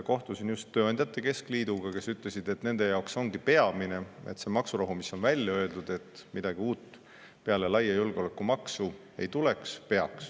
Kohtusin just tööandjate keskliiduga, nemad ütlesid, et nende jaoks ongi peamine maksurahu, mis on välja öeldud, et midagi uut peale laia julgeolekumaksu ei tule.